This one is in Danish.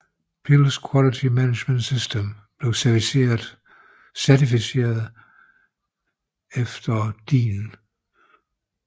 Pilz Quality Management System blev certificeret efter DIN EN ISO 9001